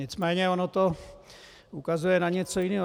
Nicméně ono to ukazuje na něco jiného.